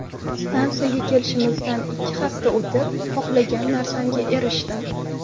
Stansiyaga kelganimizdan ikki hafta o‘tib, xohlagan narsamga erishdim.